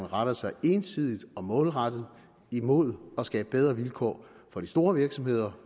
retter sig ensidigt og målrettet imod at skabe bedre vilkår for de store virksomheder